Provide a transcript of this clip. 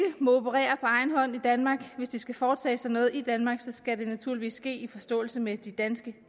operere på egen hånd i danmark hvis de skal foretage sig noget i danmark skal det naturligvis ske i forståelse med de danske